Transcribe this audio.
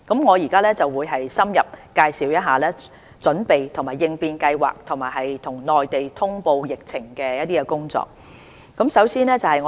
我現在會深入介紹準備及應變計劃和與內地通報疫情的工作。